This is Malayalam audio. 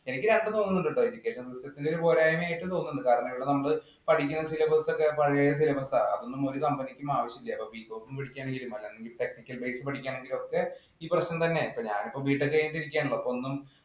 എനിക്ക് രണ്ടും തോന്നുന്നുണ്ട് കേട്ടോ. Education system ത്തിന്‍റെ ഒരു പോരായ്മ ആയിട്ടും തോന്നുന്നുണ്ട്. കാരണം, നമ്മള് പഠിക്കുന്ന syllabus ഒക്കെ പഴയ syllabus ആ. അതൊന്നും ഒരു company ക്കും ആവശ്യമില്ല. ഇപ്പൊ Bcom പഠിക്കാനായാലും ശരി technical base പഠിക്കണമെങ്കിലും ഒക്കെ ഈ പ്രശ്നം തന്നെയാ. ഞാനിപ്പോള്‍ BTech കഴിഞ്ഞിട്ടിരിക്കുകയാണല്ലോ. അപ്പൊ ഒന്നും